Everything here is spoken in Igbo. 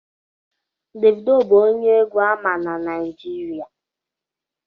Davido bụ onye egwu ama na Naịjirịa